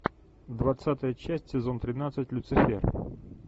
двадцатая часть сезон тринадцать люцифер